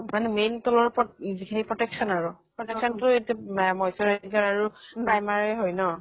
মানে main তোমাৰ উপৰত যিখিনি protection আৰু protection তো এইতো মে moisturizer আৰু primer এ হয় ন।